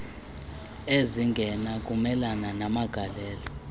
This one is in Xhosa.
ezingena kumelana namagalelo